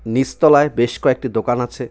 নীচতলায় বেশ কয়েকটি দোকান আছে.